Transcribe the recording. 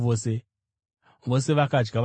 Vose vakadya vakaguta,